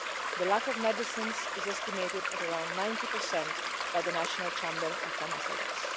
The lack of medicines is estimated at around 90 by the National Chamber of Pharmacists.